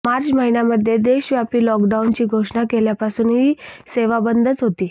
मार्च महिन्यामध्ये देशव्यापी लॉकडाऊनची घोषणा केल्यापासून ही सेवा बंदच होती